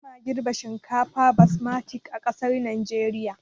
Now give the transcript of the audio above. Ba ma girɓa shinkafar basmati a ƙasar najeriya